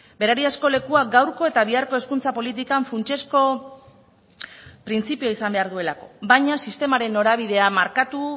berariazko lekua gaurko eta biharko hezkuntza politikan funtsezko printzipio izan behar duelako baina sistemaren norabidea markatu